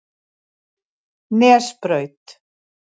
Nesbraut